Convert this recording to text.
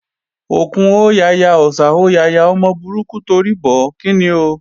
Òkún hó yaya, Ọ̀sà hó yaya, ọmọ burúkú torí bọ̀ ó, kíni ò?